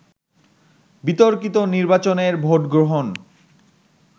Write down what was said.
বিতর্কিত নির্বাচনের ভোটগ্রহণ